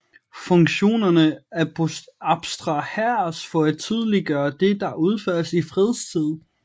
Funktionerne abstraheres for at tydeliggøre det der udføres i fredstid